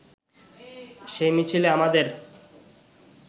সেই মিছিলে আমাদের